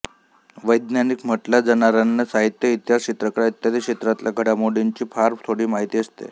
वैज्ञानिक म्हटल्या जाणाऱ्यांना साहित्य इतिहास चित्रकला इत्यादि क्षेत्रातल्या घडामोडींची फार थोडी माहिती असते